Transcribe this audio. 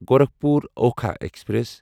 Gorakhpur Okha express